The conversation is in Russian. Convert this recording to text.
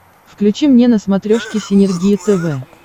включи мне на смотрешке синергия тв